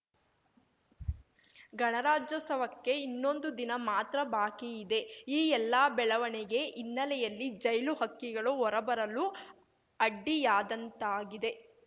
ಗಣರಾಜ್ಯೋತ್ಸವಕ್ಕೆ ಇನ್ನೊಂದು ದಿನ ಮಾತ್ರ ಬಾಕಿ ಇದೆ ಈ ಎಲ್ಲ ಬೆಳವಣಿಗೆ ಹಿನ್ನೆಲೆಯಲ್ಲಿ ಜೈಲು ಹಕ್ಕಿಗಳು ಹೊರಬರಲು ಅಡ್ಡಿಯಾದಂತಾಗಿದೆ